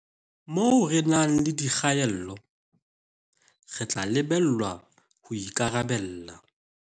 Moo re nang le dikgaello, re tla lebellwa ho ikarabella